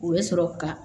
U bɛ sɔrɔ ka